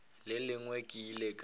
le lengwe ke ile ka